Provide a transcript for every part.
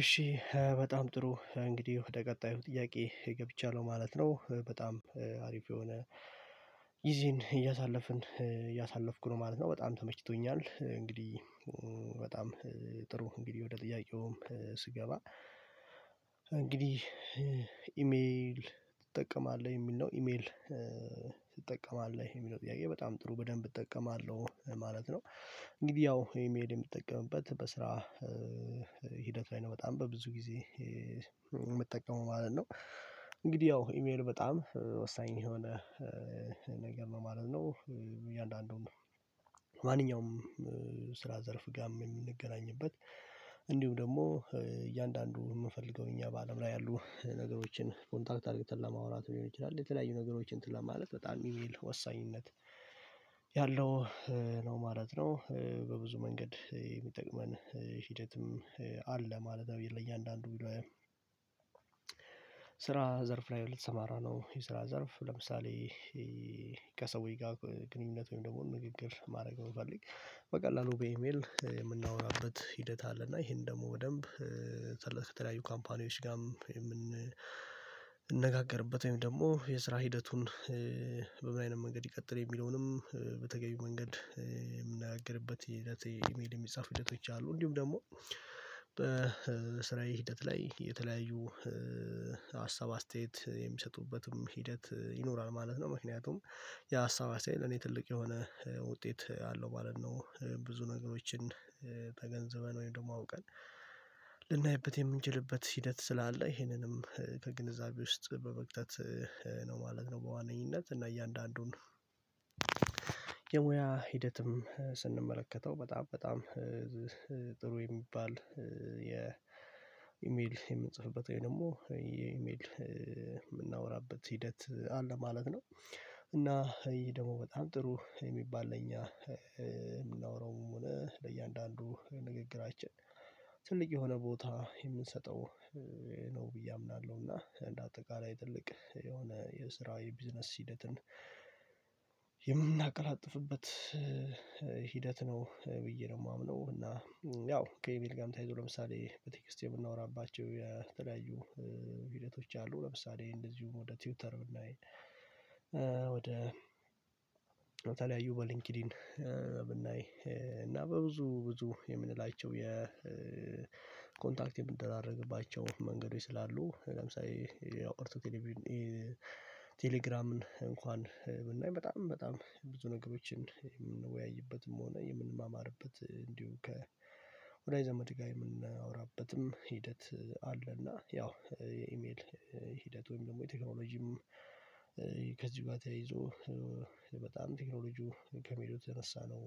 እሺ በጣም ጥሩ እንግዲህ ወደ ቀጣዩ ጥያቄ ገብቻለሁ ማለት ነው በጣም አሪፍ የሆነ ጊዜን እያሳለፍን እያሳለፍኩ ነው ማለት ነው በጣም ተመችቶኛል። እንግዲህ በጣም ጥሩ እንግዲህ ወደ ጥያቄውም ስገባ እንግዲህ ኢሜል ትጠቀማለህ የሚል ነው ኢሜል ትጠቀማለህ የሚለው ጥያቄ በጣም ጥሩ በደንብ እጠቀማለሁ ማለት ነው። እንግዲህ ያው ኢሜል የምጠቀምበት በስራ ሂደት ላይ ነው። በጣም በብዙ ጊዜ የምትጠቀመው ማለት ነው እንግዲህ ያው ኢሜል በጣም ወሳኝ የሆነ ነገር ነው ማለት ነው። እያንዳንዱን ማንኛውም ስራ ዘርፍ ጋም የምንገናኝበት እንዲሁም ደግሞ እያንዳንዱ የምፈልገው እኛ በአለም ላይ ያሉ ነገሮችን ኮንታክት አድርግተን ለማውራት ሊሆን ይችላል የተለያዩ ነገሮች እንትን ለማለት በጣም ኢሜል ወሳኝነት ያለው ነው ማለት ነው። በብዙ መንገድ የሚጠቅመን ሂደትም አለ። ማለት ለእያንዳንዱ ስራ ዘርፍ ላይ ልትሰማራነው የስራ ዘርፍ ለምሳሌ ከሰውዎች ጋር ግንኙነት ወይም ደግሞ ንግግር ማድረግ ነው። ብፈልግ በቀላሉ በኢሜል የምናወራበት ሂደት አለ። እና ይሄን ደግሞ በደንብ ሰለት ከተለያዩ ካምፓኒዎች ጋርም የምንነጋገርበት ወይም ደግሞ የስራ ሂደቱን በምን አይነት መንገድ ይቀጥል የሚለውንም በተገቢው መንገድ የምንነጋገርበት ሂደት ኢሜል የሚጻፍ ሂደቶች አሉ። እንዲሁም ደግሞ በስራዬ ሂደት ላይ የተለያዩ ሀሳብ አስተያየት የሚሰጡበትም ሂደት ይኖራል ማለት ነው። ምክንያቱም የሀሳብ ሳይል እኔ ትልቅ የሆነ ውጤት አለው ማለት ነው። ብዙ ነገሮችን ተገንዘበን ወይም ደግሞ አውቀን ልናይበት የምንችልበት ሂደት ስላለ ይሄንንም ከግንዛቤ ውስጥ በመክተት ነው ማለት ነው። በዋነኝነት እና እያንዳንዱን ሙያ ሂደትም ስንመለከተው በጣም በጣም ጥሩ የሚባል የኢሜል የምንጽፍበት ወይ ደግሞ የኢሜል የምናወራበት ሂደት አለ ማለት ነው። እና ይሄ ደግሞ በጣም ጥሩ የሚባል ለኛ የምናወራውም ሆነ ለእያንዳንዱ ንግግራችን ትልቅ የሆነ ቦታ የምንሰጠው ነው ብዬ አምናለሁና እንደ አጠቃላይ ትልቅ የሆነ የስራዊ ቢዝነስ ሂደትን የምናቀላጥፍበት ሂደት ነው። ብዬ ነው የማምነው እና ያው ከኤሜል ጋም ተያይዞ ለምሳሌ በቴክስቴ የምናወራባቸው የተለያዩ ሂደቶች አሉ። ለምሳሌ እንደዚሁም ወደ ቲውተር ላይ ወደ የተለያዩ በሊንኪዲን ብናይ እና በብዙ ብዙ የምንላቸው የኮንታክት የምንደራረግባቸው መንገድ ስላሉ ለምሳሌ ሌላው ቀርቶ ቴሌግራምን እንኳን ብናይ በጣም በጣም ብዙ ነገሮችን የምንወያይበትም ሆነ የምንማማርበት እንዲሁ ከ ወደጅ ዘምድ ጋር የምናወራበትም ሂደት አለ። እና ያው የኢሜል ሂደት ወይም ደግሞ የቴክኖሎጂም ከዚህ ተያይዞ በጣም ቴክኖሎጂው ከሚሄዱ የነሳነው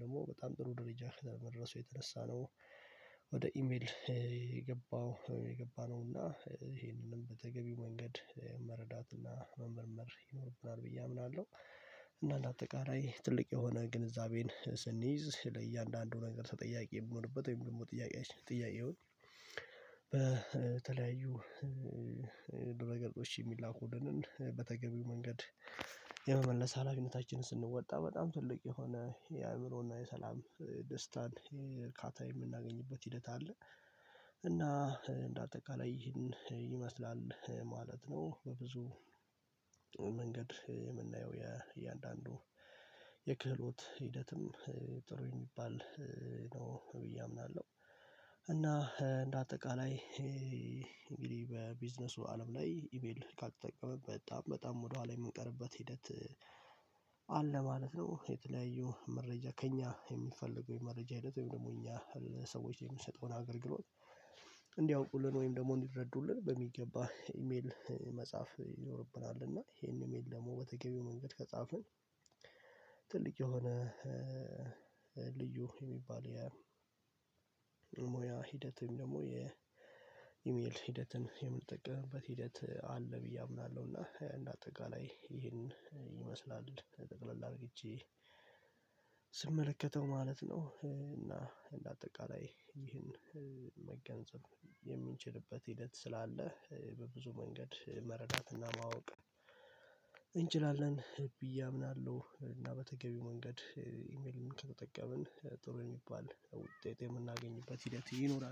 ደግሞ በጣም ጥሩ ደረጃ ከደረሱ የተነሳ ነው። ወደ ኢሜል የገባው የገባነው እና ይሄንንም በተገቢ መንገድ መረዳት እና መመርመር ይኖርብናል ብዬ አምናለሁ። እና አንደ አጠቃላይ ትልቅ የሆነ ግንዛቤን ስንይዝ ለእያንዳንዱ ነገር ተጠያቂ የምንሆንበት ወይም ደግሞ ጥያቄዎች ጥያቄዉን በተለያዩ ደረገጾች የሚላኩልንን በተገቢው መንገድ የመመለስ ሀላፊነታችንን ስንወጣ በጣም ትልቅ የሆነ የአእምሮና የሰላም ደስታን እርካታ የምናገኝበት ሂደት አለ። እና እንደ አጠቃላይ ይህን ይመስላል ማለት ነው። በብዙ መንገድ የምናየው የእያንዳንዱ የክህሎት ሂደትም ጥሩ የሚባል ነው ብዬ አምናለሁ። እና እንደ አጠቃላይ እንግዲህ በቢዝነሱ አለም ላይ ኢሜል ካልተጠቀመንበት በጣም በጣም ወደኋላ የምንቀርበት ሂደት አለ ማለት ነው። የተለያዩ መረጃ ከእኛ የሚፈልገው የመረጃ ሂደት ወይም ደግሞ እኛ ሰዎች የምንሰጠውን አገልግሎት እንዲያውቁልን ወይም ደግሞ እንዲረዱልን በሚገባ ኢሜል መጽሐፍ ይኖርብናል እና ይሄን ኢሜል ደግሞ በተገቢው መንገድ ከጻፍን ትልቅ የሆነ ልዩ የሚባል የሙያ ሂደት ወይም ደግሞ የኢሜል ሂደትን የምንጠቀምበት ሂደት አለ ብዬ አምናለሁና። እንደ አጠቃላይ ይሄን ይመስላል ጠቅለላ አርግቼ ስመለከተው ማለት ነው። እና እንደ አጠቃላይ ይህን መገንዘብ የምንችልበት ሂደት ስላለ በብዙ መንገድ መረዳትና ማወቅ እንችላለን ብዬ አምናለሁ። እና በተገቢው መንገድ ኢሜልን ከተጠቀምን ጥሩ የሚባል ውጤት የምናገኝበት ሂደት ይኖራል